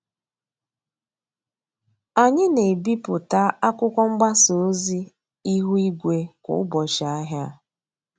Anyị na-ebipụta akwụkwọ mgbasa ozi ihu igwe kwa ụbọchị ahịa.